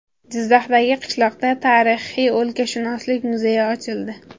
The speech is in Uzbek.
Jizzaxdagi qishloqda tarixiy o‘lkashunoslik muzeyi ochildi.